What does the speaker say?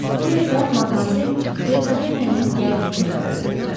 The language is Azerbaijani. Bu yerdə madmazel Detavernenin gəldiyini xəbər verdilər.